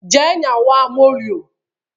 Jee nyawa moluo!